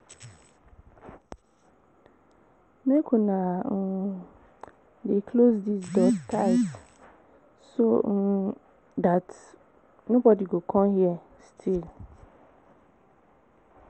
Make una um dey close dis door tight so um dat nobody go come here steal